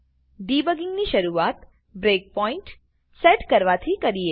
debugging ની શરૂઆત breakpoint break point set કરવાથી કરીએ